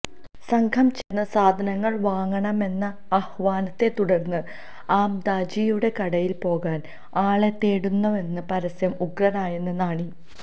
സംഘം ചേർന്ന് സാധനങ്ങൾ വാങ്ങണമെന്ന ആഹ്വാനത്തെ തുടർന്ന് ആമദാജിയുടെ കടയിൽ പോകാൻ ആളെ തേടുന്നുവെന്ന പരസ്യം ഉഗ്രനായെന്ന് നാണി